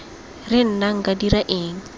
re nna nka dira eng